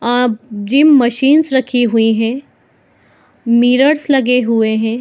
आ gym machines रही हुई है मिरर्स लगे हुए है।